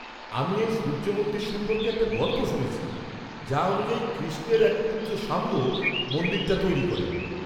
-আমি এই সূর্য মন্দির সম্পর্কে একটা গল্প শুনেছি, যা অনুযায়ী কৃষ্ণের এক পুত্র সাম্ব মন্দিরটা তৈরি করেন।